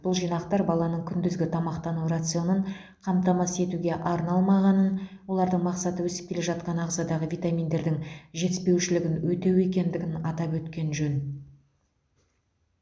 бұл жинақтар баланың күндізгі тамақтану рационын қамтамасыз етуге арналмағанын олардың мақсаты өсіп келе жатқан ағзадағы витаминдердің жетіспеушілігін өтеу екендігін атап өткен жөн